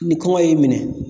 Ni kɔngɔ y'i minɛ